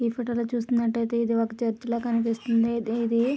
ఈ ఫోటో లో చూసినట్లయితేఇది ఒక చర్చి ల కనిపిస్తుంది.ఇది ఆ--